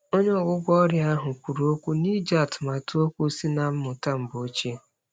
Onye ọgwụgwọ ọrịa ahụ kwụrụ okwu n'iji atụmatụ okwu sị na mmụta mgbe ochie.